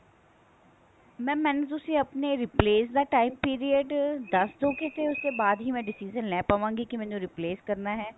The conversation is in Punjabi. mam ਮੈਨੂੰ ਤੁਸੀਂ ਆਪਣੇ replace ਦਾ time period ਦੱਸਦੋਗਏ ਉਸ ਤੋਂ ਬਾਅਦ ਹੀ ਮੈਂ decision ਲੈ ਪਾਵਾਂਗੀ ਕੀ ਮੈਨੂੰ replace ਕਰਨਾ ਹੈ